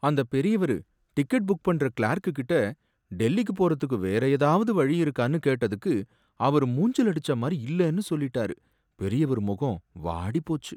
அந்தப் பெரியவரு ticket book பண்ற கிளார்க் கிட்ட டெல்லிக்கு போறதுக்கு வேற ஏதாவது வழி இருக்கானு கேட்டதுக்கு அவரு மூஞ்சிலடிச்ச மாதிரி இல்லனு சொல்லிட்டாரு, பெரியவரு முகம் வாடிப் போச்சு